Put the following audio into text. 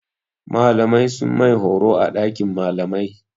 Malamai sun yi mai horo a ɗakin malamai.